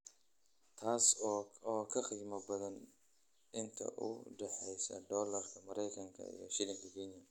taas oo ka qiimo badan inta u dhaxaysa Dollarka Maraykanka iyo Shilinka Kenya